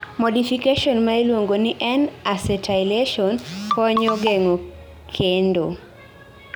modification ma ilungo ni N-acetylation, konyo geng'o kendo